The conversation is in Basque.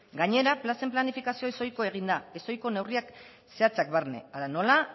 gainera plazen planifikazioa ez ohiko egin da ez ohiko neurriak zehatzak barne hala nola